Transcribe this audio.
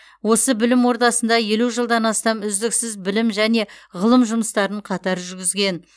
осы білім ордасында елу жылдан астам үздіксіз білім және ғылым жұмыстарын қатар жүргізген